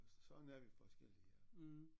Sådan er vi forskellige